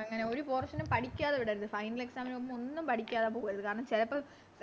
അങ്ങനെ ഒരു Portion നും പഠിക്കാതെ വിടരുത് Final exam ന് പോകുമ്പോ ഒന്നും പഠിക്കാതെ പോകരുത് കാരണം ചെലപ്പോ